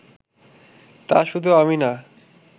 তা শুধু আমি না